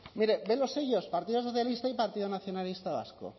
mire ve los sellos partido socialista y partido nacionalista vasco